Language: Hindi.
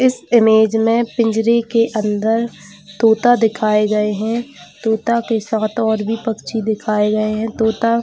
इस इमेज में पिंजरे के अंदर तोता दिखाए गया है तोता के और साथ और भी पक्षी दिखाई गई है तोता--